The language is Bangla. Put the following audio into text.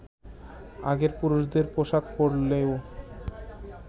আগে পুরুষদের পোষাক পড়লেও